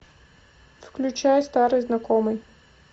включай старый знакомый